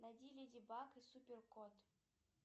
найди леди баг и супер кот